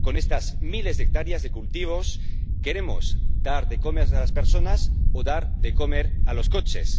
Con estas miles de hectáreas de cultivos, queremos dar de comer a las personas o dar de comer a los coches.